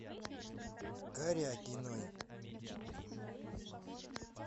карякиной